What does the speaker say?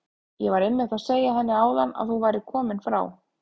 Ég var einmitt að segja henni áðan að þú værir kominn frá